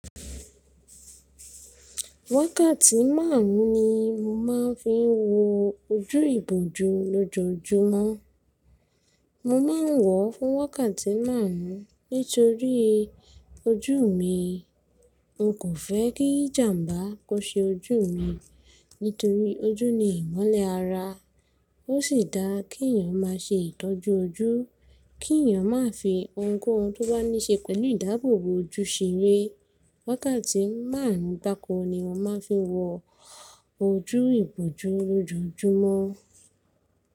Wákàtí márùn ni mo máa ń fi ń wo ojú ìbòjú lójoojúmọ́. Mo ma ń wọ̀ fún wákàtí márùn nítorí ojú mi. N kò fẹ́ kí jàmbá kó se ojú mi nítorí ojú ni ìmọ́lẹ̀ ara. Ó sì dáa kí èèyàn má se ìtọ́jú ojú, kí èèyàn má fi ohunkóhun tó bá níṣe pẹ̀lú ìdáàbòbò ojú ṣeré. Wákàtí márùn gbako ni mo máa ń fi wo ojú ìbòjú lójoojúmọ́.